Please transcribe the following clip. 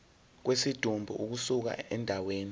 kwesidumbu ukusuka endaweni